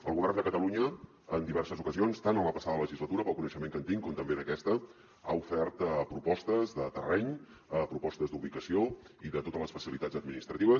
el govern de catalunya en diverses ocasions tant en la passada legislatura pel coneixement que en tinc com també en aquesta ha ofert propostes de terreny propostes d’ubicació i de totes les facilitats administratives